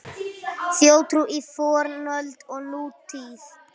Þjóðtrú í fornöld og nútíð